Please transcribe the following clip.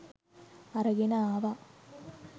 අරගෙන ආවා.